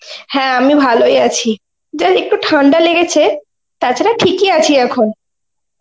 হ্যাঁ আমি ভালোই আছি, যা একটু ঠান্ডা লেগেছে, তাছাড়া ঠিকই আছি এখন.